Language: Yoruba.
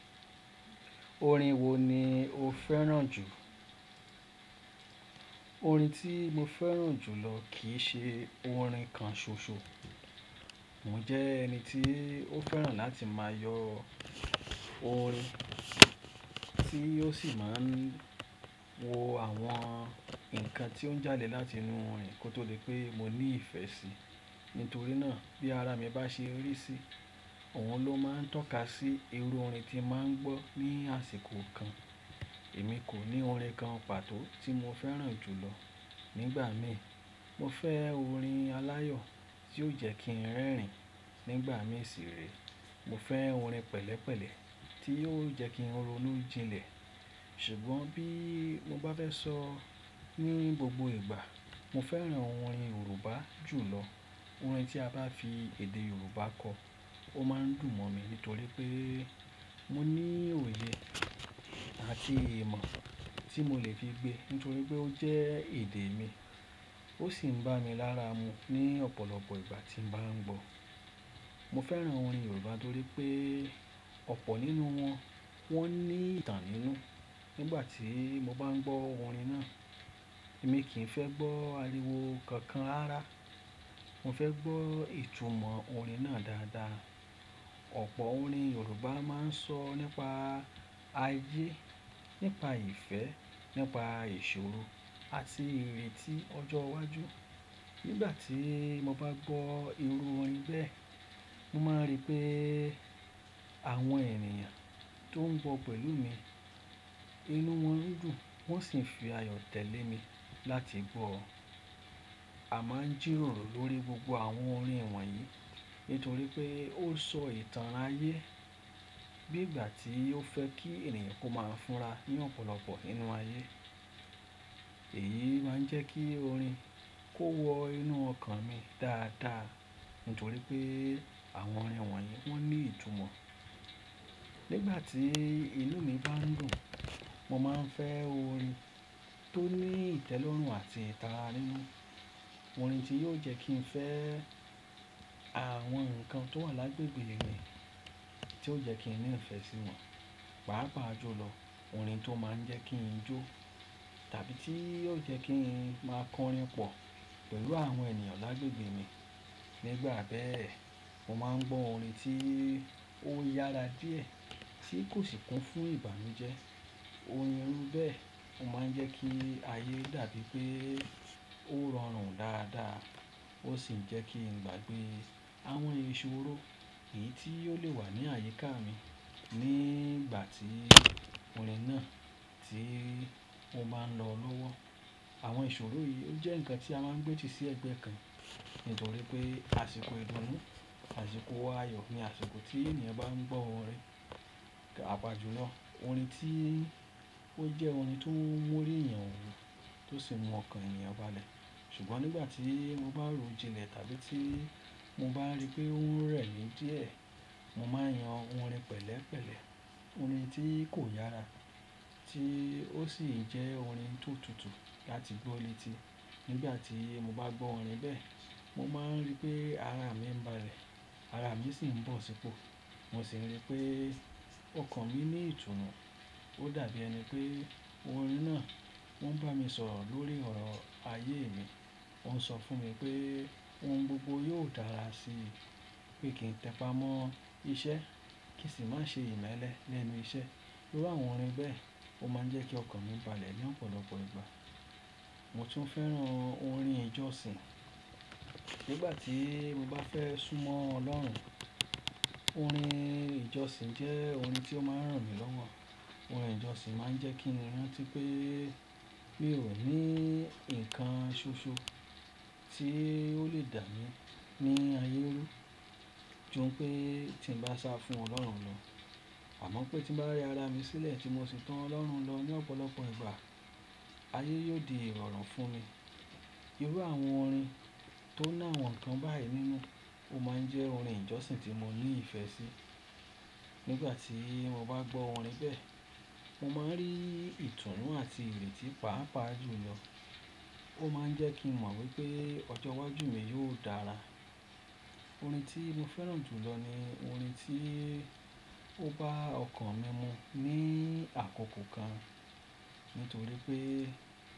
Orin wo ni o fẹ́ràn jù? Orin tí mo fẹ́ràn jù lọ kì í ṣe orin kan ṣoṣo. Mo jẹ́ ẹni tí ó fẹ́ràn láti máa yọ orin tí ó sì máa ń wo àwọn ǹkan tí ó ń jáde láti inú orin kó tó lè pé mo ní ìfẹ́ sí. Nítorí náà bí ara mi bá ṣe rí sí i, òun ló máa ń tọ́ka sí irú orin tí màá ń gbọ́ ní àsìkò kan. Èmi kò ní orin kan pàtó tí mo fẹ́ràn jù lọ. Nígbà mi mo fẹ́ orin aláyọ̀ tí yóò jẹ́ kí n rẹ́rìn-ín nígbà mí sì rèẹ́. Mo fẹ́ orin pẹ̀lẹ́pẹ̀lẹ́ tí yóò jẹ́ kí n ronú jinlẹ̀. Ṣùgbọ́n bí mo bá fẹ́ sọ ní gbogbo ìgbà, mo fẹ́ràn orin Yorùbá jù lọ. Àwọn orin tí a bá fi èdè yorùbá kọ ó máa ń dùn mọ mi nítorí pé mo ní òye àti ìmọ̀ tí mo lè fi gbé nítorí pé ó jẹ èdè mi ó sì ń bá mi lára mu ní ọ̀pọ̀lọpọ̀ ìgbà tí baa ń gbọ́. Mo fẹ́ràn orin Yorùbá torí pé ọ̀pọ̀ nínú wọn, wọ́n ní ìtàn nínú. Nígbà tí mo bá ń gbọ́ orin náà, èmi kì í fẹ́ gbọ́ àríwó kankan rárá. Mo fẹ́ gbọ́ ìtumọ̀ orin náà dáadáa. Ọ̀pọ̀ orin Yorùbá máa ń sọ nípa ayé, nípa ìfẹ́, nípa ìṣòro àti ìrètí ọjọ́ iwájú. Nígbà tí mo bá gbọ́ irú orin bẹ́ẹ̀, mo máa ń rí pé àwọn ènìyàn tó ń gbọ́ pẹ̀lú mi, inú wọn dùn, wọ́n sì ń fi ayọ̀ tẹ̀lé mi láti gbọ́. A máa ń jìròrò lórí gbogbo àwọn orin wọ̀nyí nítorí pé ó ń sọ ìtàn ayé bí ìgbà tí ó fẹ́ kí ènìyàn kó máa fúnra ní ọ̀pọ̀lọpọ̀ nínú ayé. Èyí máa ń jẹ́ kí orin kó wọ inú ọkàn mi dáadáa nítorí pé àwọn orin wọ̀nyí wọ́n ní ìtumọ̀. Nígbà tí inú mi bá ń dùn, mo máa ń fẹ́ orin tó ní ìtẹ́lọ́rùn àti ìtara nínú. Orin tí yóò jẹ́ kí n fẹ́ àwọn ǹkan tó wà lágbègbè mi, tí yóò jẹ́ kí n ní ìfẹ́ sí wọn, pàápàá jùlọ orin tó máa ń jẹ́ kí n jó tàbí tí yóò jẹ́ kí n máa kọrin pọ̀ pẹ̀lú àwọn ènìyàn lágbègbè mi. Nígbà bẹ́ẹ̀, mo máa ń gbọ́ orin tí ó yára díẹ̀ tí kò sì kún fún ìbànújẹ́. Orin irú bẹ́ẹ̀ máa ń jẹ́ kí ayé dàbí pé ó rọrùn dáadáa ó sì ń jẹ́ kí n gbàgbé àwọn ìṣòro yìí tí ó lè wà ní àyíká mi nígbà tí orin náà tí mo bá ń lọ lọ́wọ́. Àwọn ìṣòro yìí ó jẹ́ ǹkan tí a máa ń gbé ti sí ẹ̀gbẹ́ kan nítorí pé àsìkò ìdùnnú, àsìkò wa ayọ̀ ni àsìkò tí ènìyàn bá ń gbọ́ orin pàápàá jùlọ. Orin tí ó jẹ́ orin tó ń mú orí èeyan wú tó sì mú ọkàn ènìyàn balẹ̀. Ṣùgbọ́n nígbà tí mo bá ro jinlẹ̀ tàbí tí mo bá rí pé òun rẹ̀ mi díẹ̀, mo máa ń yan orin pẹ̀lẹ́pẹ̀lẹ́. Orin tí kò yára tí ó sì jẹ́ orin tó tutù láti gbọ́ létí. Nígbà tí mo baa gbọ orin be mo máa ń rí pé ara mi ń balẹ̀ ara mii sì ń bọ si po. Mo sì ń rí pé ọkàn mi ní ìtùnú. Ó da bi ẹni pé orin náà o ń bá mi sọ̀rọ̀ lórí ọ̀rọ ayé mi ó ń sọ fún mi pé ohun gbogbo yóò dára sí i, pé kí n tẹpà mọ́ iṣẹ́ kí sì má ṣe ìmẹ́lẹ́ lẹ́nu iṣẹ́. Irú àwọn orin bẹ́ẹ̀, ó máa ń jẹ́ kí ọkàn mi balẹ̀ ní ọ̀pọ̀lọpọ̀ ìgbà. Mo tún fẹ́ràn orin ìjọsìn. Nígbà tí mo bá fẹ́ súnmọ́ Ọlọ́run, orin ìjọsìn jẹ́ orin tí ó máa ń ràn mí lọ́wọ́. Orin ìjọsìn máa ń jẹ́ kí n rántí pé mi o ní ǹkan ṣoṣo tí ó lè dà mi ní ayé run júm pé tí n báa sá fún Ọlọ́run lọ àmọ́ pé tí mo bá rẹ ara mi sílẹ̀ tí mo sì to Ọlọ́run lọ ní ọ̀pọ̀lọpọ̀ ìgbà, ayé yóò di ìrọ̀rùn fún mi. Irú àwọn orin tó ni àwọn ǹkan bayi nínú ó máa ń jẹ orin ìjọsìn tí mo ní ìfẹ́ sí. Nígbà tí mo bá gbọ́ wọn bẹ́ẹ̀, mo máa ń rí ìtùnú àti ìrètí pàápàá jù lọ. Ó máa ń jẹ́ kí n mọ̀ wípé ọjọ́ iwájú mi yóò dára. Orin tí mo fẹ́ràn jù lọ ni orin tí ó baa ọkàn mi mu ní àkókò kan nítorí pé.